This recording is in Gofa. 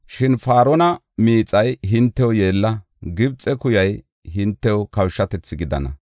Shin Paarona miixay hintew yeella, Gibxe kuyay hintew kawushatethi gidana.